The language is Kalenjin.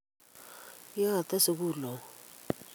kiyate sukul au